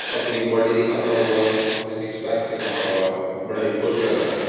अपनी बॉडी दिखाता हुआ। अपने सिक्स पैक दिखता हुआ। बड़ा ही खुश लग रहा है।